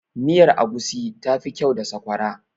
miyar agushi tafi kyau da sakwara